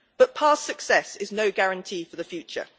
But past success is no guarantee for the future.